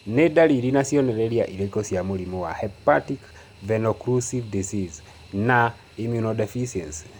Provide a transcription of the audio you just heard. Nĩ dariri na cionereria irĩkũ cia mũrimũ wa Hepatic venoocclusive disease with immunodeficiency?